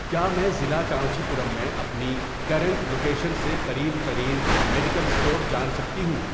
کیا میں ضلع کانچی پورم میں اپنی کرنٹ لوکیشن سے قریب ترین میڈیکل اسٹور جان سکتی ہوں؟